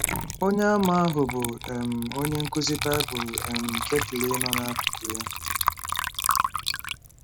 Onyeàmà ahụ bụ́ um onye nkụzi Bible um Ketly nọ n’akụkụ ya.